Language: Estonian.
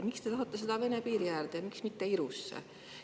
Miks te tahate seda Vene piiri äärde ja miks mitte Irusse?